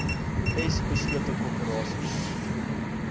s beslote korporasies